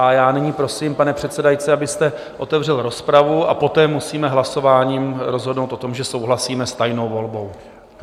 A já nyní prosím, pane předsedající, abyste otevřel rozpravu, a poté musíme hlasováním rozhodnout o tom, že souhlasíme s tajnou volbou.